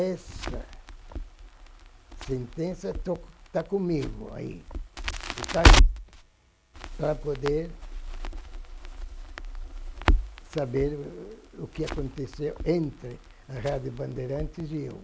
Essa sentença está está comigo aí, está aí, para poder saber o que aconteceu entre a Rádio Bandeirantes e eu.